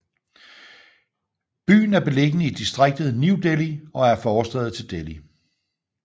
Byen er beliggende i distriktet New Delhi og er en forstad til Delhi